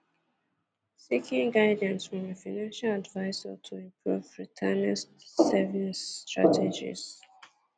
Ịchọ nduzi Ịchọ nduzi sitere n'aka onye ndụmọdụ nke ego iji kwalite atụmatụ nchekwa ego ezumike nka.